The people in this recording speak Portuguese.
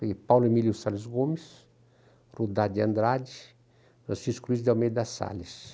Peguei Paulo Emílio Salles Gomes, Rudá de Andrade, Francisco Luiz de Almeida Salles.